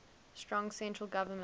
strong central government